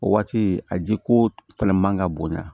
O waati a jiko fɛnɛ man ka bonya